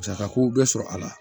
Musakako bɛɛ sɔrɔ a la